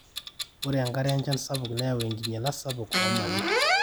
ore enkare enchan sapuk neyaua enkinyialata sapuk oo mali